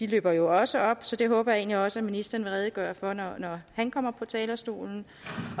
slipper jo også op så det håber jeg egentlig også at ministeren vil redegøre for når han kommer på talerstolen